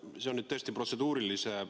See küsimus on nüüd tõesti protseduuriline.